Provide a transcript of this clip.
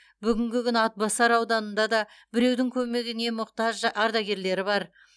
бүгінгі күні атбасар ауданында да біреудің көмегіне мұқтаж ардагерлері бар